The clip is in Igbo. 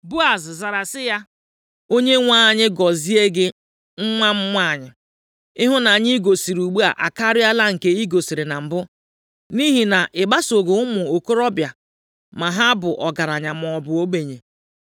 Boaz zara sị ya, “ Onyenwe anyị gọzie gị, nwa m nwanyị. Ịhụnanya i gosiri ugbu a akarịala nke i gosiri na mbụ, nʼihi na i gbasoghị ụmụ okorobịa, ma ha bụ ọgaranya maọbụ ogbenye.